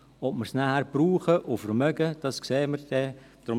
Ob wir es nachher brauchen und vermögen, sehen wir dann.